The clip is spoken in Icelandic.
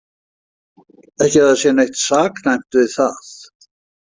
Ekki að það sé neitt saknæmt við það.